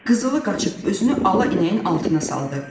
Qızılı qaçıb özünü ala inəyin altına saldı.